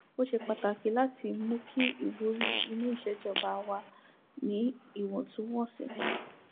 ó ṣe pàtàkì láti mú kí ìwúrí inú iṣẹ ìjọba wà níwọntúnwọnsì